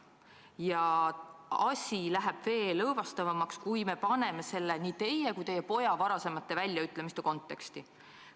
Ja asi läheb veel õõvastavamaks, kui me paneme selle nii teie kui teie poja varasemate väljaütlemiste konteksti.